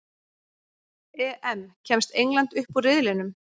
EM: Kemst England upp úr riðlinum?